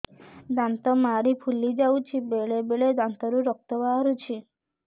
ଦାନ୍ତ ମାଢ଼ି ଫୁଲି ଯାଉଛି ବେଳେବେଳେ ଦାନ୍ତରୁ ରକ୍ତ ବାହାରୁଛି